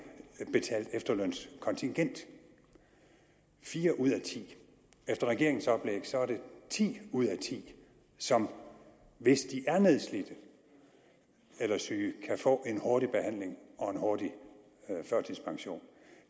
betalt efterlønskontingent fire ud af ti efter regeringens oplæg er det ti ud af ti som hvis de er nedslidte eller syge kan få en hurtig behandling og en hurtig førtidspension